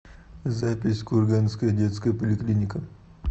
запись курганская детская поликлиника